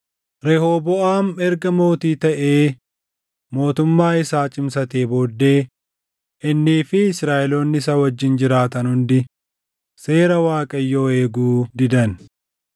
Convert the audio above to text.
Rehooboʼaam erga mootii taʼee mootummaa isaa cimsatee booddee innii fi Israaʼeloonni isa wajjin jiraatan hundi seera Waaqayyoo eeguu didan.